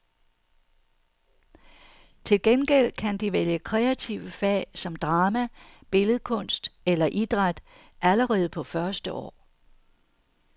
Til gengæld kan de vælge kreative fag som drama, billedkunst eller idræt allerede på første år.